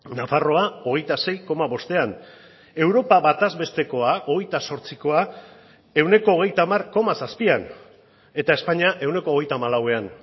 nafarroa hogeita sei koma bostean europa bataz bestekoa hogeita zortzikoa ehuneko hogeita hamar koma zazpian eta espainia ehuneko hogeita hamalauan